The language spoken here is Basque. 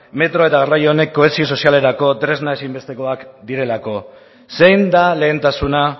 metro garraio honek kohesio sozialerako tresna ezinbestekoak direlako zein da lehentasuna